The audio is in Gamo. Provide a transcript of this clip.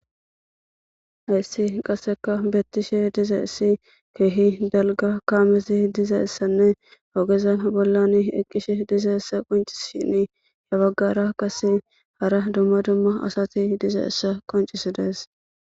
Hayssi qasseka beettishe diza issi keehi dalga kaamesi diza essanne ogeza bollan eqqishe diza essa qonci shini habaggara kase hara dumma dumma asati diza issa qoncisi dees